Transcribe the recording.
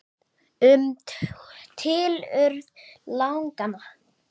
Um tilurð laganna